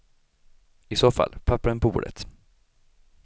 I så fall, papperen på bordet.